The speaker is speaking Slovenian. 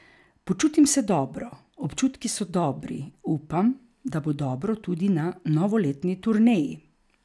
Počutim se dobro, občutki so dobri, upam, da bo dobro tudi na novoletni turneji.